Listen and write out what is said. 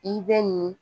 I bɛ nin